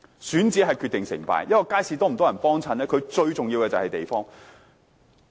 選址決定成敗，一個街市是否多人光顧，最重要的是地點。